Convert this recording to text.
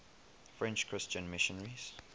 french christian missionaries